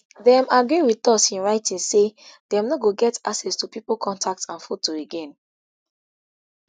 dem agree wit us in writing say dem no go get access to pipo contacts and photo again